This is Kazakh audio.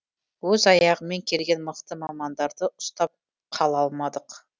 өз аяғымен келген мықты мамандарды ұстап қала алмадық